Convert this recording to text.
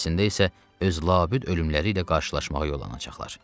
Əslində isə öz labüd ölümləri ilə qarşılaşmağa yollanacaqlar.